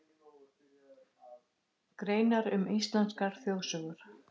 Greinar um íslenskar þjóðsögur.